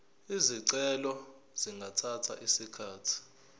izicelo zingathatha isikhathi